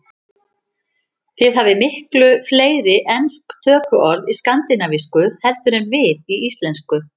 Þið hafið miklu fleiri ensk tökuorð í skandinavísku heldur en við í íslensku.